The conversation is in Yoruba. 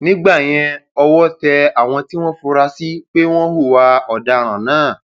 nígbẹyìn ọwọ tẹ àwọn tí wọn fura sí pé wọn hùwà ọdaràn náà